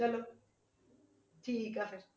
ਚਲੋ ਠੀਕ ਆ ਫਿਰ